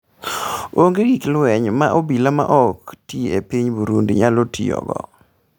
Ongee gik lweny ma obila ma ok ti e piny Burundi nyalo tiyogo